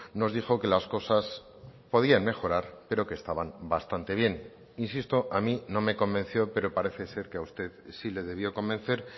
nos dijo que las cosas podían mejorar pero que estaban bastante bien insisto a mí no me convenció pero parece ser que a usted sí le debió convencer